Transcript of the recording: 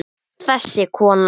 Þessi kona!